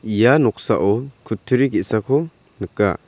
ia noksao kutturi ge·sako nika.